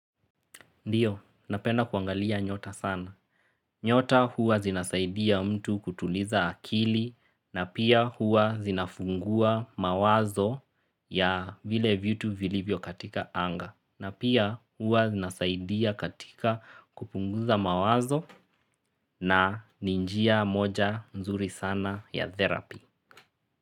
Ndiyo, napenda kuangalia nyota sana. Nyota huwa zinazaidia mtu kutuliza akili na pia huwa zinafungua mawazo ya vile vitu vilivyo katika anga. Na pia huwa zinazaidia katika kupunguza mawazo na ni njia moja nzuri sana ya therapy.